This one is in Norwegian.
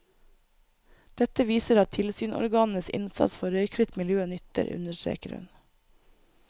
Dette viser at tilsynsorganenes innsats for røykfritt miljø nytter, understreker hun.